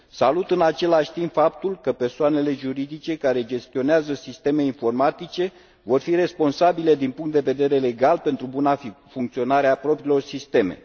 Salut, în același timp, faptul că persoanele juridice care gestionează sisteme informatice vor fi responsabile din punct de vedere legal pentru buna funcționare a propriilor sisteme.